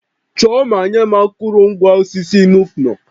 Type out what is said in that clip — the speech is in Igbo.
Chọọ ma nye m akụrụngwa osisi Nuke-Noh